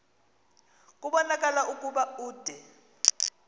kubonakala ukuba ude